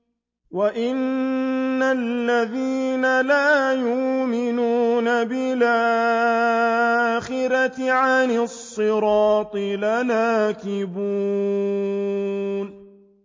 وَإِنَّ الَّذِينَ لَا يُؤْمِنُونَ بِالْآخِرَةِ عَنِ الصِّرَاطِ لَنَاكِبُونَ